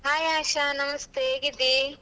Hai Asha ನಮಸ್ತೆ ಹೇಗಿದ್ದಿ?